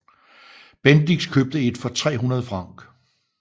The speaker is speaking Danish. Bendix købte et for 300 Frc